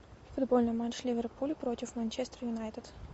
футбольный матч ливерпуль против манчестер юнайтед